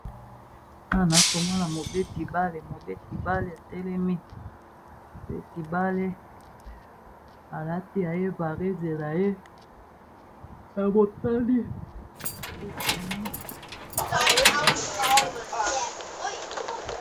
Awa na komona mobeti bale mobeti bale a telemi mobeti bale alati yaye varesse naye ya motani pe ekomami na pembe.